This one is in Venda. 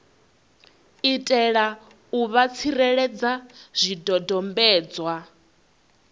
itela u vha tsireledza zwidodombedzwa